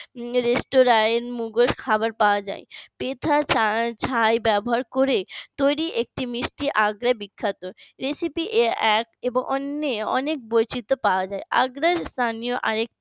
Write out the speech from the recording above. রেস্তোরায় মোগল খাবার পাওয়া যায় পিঠা ছাই ব্যবহার করে তৈরি একটি মিষ্টি আগড়ায় বিখ্যাত recipe এক এবং অন্যের অনেক বৈচিত্র পাওয়া যায় আগ্রায় স্থানীয় আরেকটি